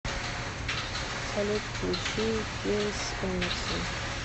салют включи кейс эмерсон